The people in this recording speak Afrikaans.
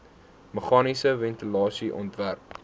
meganiese ventilasie ontwerp